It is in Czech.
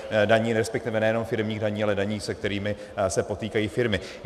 Respektive nejenom firemních daní, ale daní, se kterými se potýkají firmy.